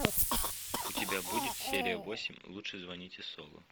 у тебя будет серия восемь лучше звоните солу